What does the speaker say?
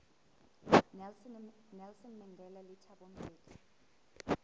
nelson mandela le thabo mbeki